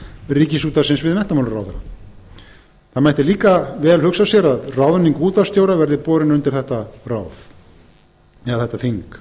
ríkisútvarpsins við menntamálaráðherra það mætti líka vel hugsa sér að ráðning útvarpsstjóra verði borin undir þetta ráð eða þetta þing